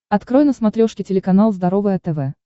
открой на смотрешке телеканал здоровое тв